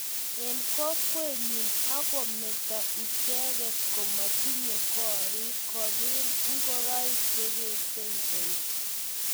Eng kokwenyi akometo icheget komotinye gorik kobil ngoroik chekesiebei